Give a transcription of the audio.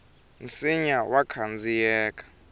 nsinya wa khandziyeka